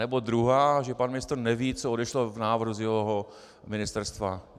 Nebo druhá, že pan ministr neví, co odešlo v návrhu z jeho ministerstva.